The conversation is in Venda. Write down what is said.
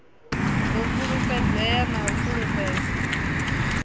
ḓo fulufhedzea na u fulufhela